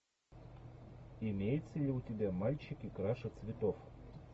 имеется ли у тебя мальчики краше цветов